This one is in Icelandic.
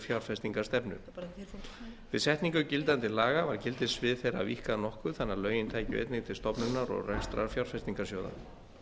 fjárfestingarstefnu við setningu gildandi laga var gildissvið þeirra víkkað nokkuð þannig að lögin tækju einnig til stofnunar og reksturs fjárfestingarsjóða